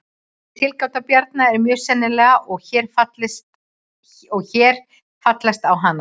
Þessi tilgáta Bjarna er mjög sennileg og er hér fallist á hana.